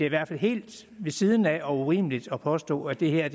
i hvert fald helt ved siden af og urimeligt at påstå at det her